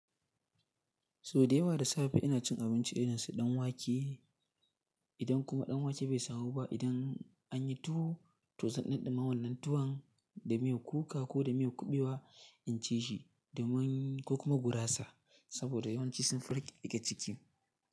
Sau da yawa da safe ina cin abinci irin su ɗanwake, idan kuma ɗanwake bai samu ba, idan anyi tuwo to zan ɗunduma wannan tuwan da miyar kuka ko da miyar kuɓewa in ci shi domin ko kuma gurasa saboda yawanci sunfi rike ciki.